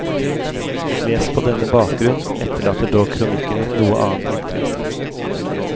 Lest på denne bakgrunn, etterlater dog kronikken et noe annet inntrykk.